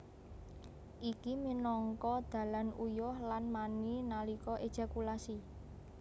Iki minangka dalan uyuh lan mani nalika ejakulasi